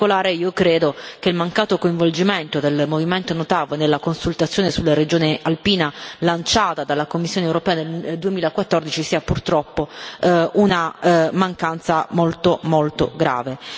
In particolare, io credo che il mancato coinvolgimento del movimento No TAV nella consultazione sulla regione alpina lanciata dalla Commissione europea nel 2014 sia purtroppo una mancanza molto, molto grave.